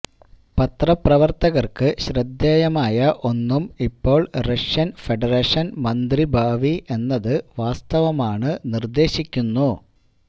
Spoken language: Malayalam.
പത്രപ്രവർത്തകർക്ക് ശ്രദ്ധേയമായ ഒന്നും ഇപ്പോൾ റഷ്യൻ ഫെഡറേഷൻ മന്ത്രി ഭാവി എന്നത് വാസ്തവമാണ് നിർദ്ദേശിക്കുന്നു